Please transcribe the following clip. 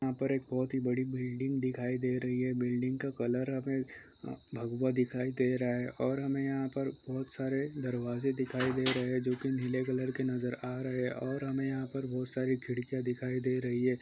यहाँ पर एक बहोत ही बड़ी बिल्डिंग दिखाई दे रही हैं बिल्डिंग का कलर हमे भगवा दिखाई दे रहा है और हमे यहाँ पर बहोत सारे दरवाज़े दिखाई दे रहैं है जो की नीले कलर के नज़र आ रहे है और हमे यहाँ पर बहुत सारी खिड़कीयाँ दिखाई दे रही हैं।